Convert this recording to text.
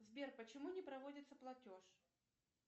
сбер почему не проводится платеж